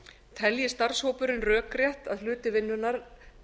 telji starfshópurinn rökrétt að hluti vinnunnar